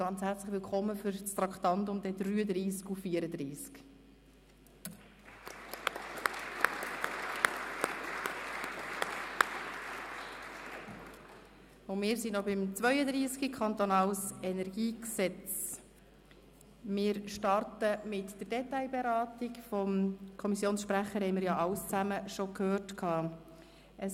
Ganz herzlich willkommen für die Traktanden 33 und 34! Wir sind noch beim Traktandum 32, dem KEnG. Wir befinden uns in der Detailberatung, nachdem wir vom Kommissionssprecher schon alles gehört haben.